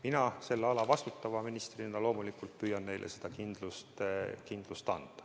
Mina selle ala vastutava ministrina loomulikult püüan neile seda kindlust anda.